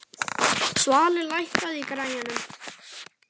Svali, lækkaðu í græjunum.